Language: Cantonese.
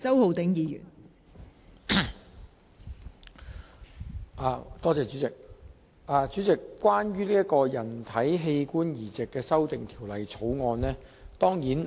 代理主席，我當然會支持《2018年人體器官移植條例草案》。